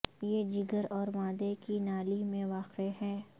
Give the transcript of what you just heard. یہ جگر اور معدے کی نالی میں واقع ہے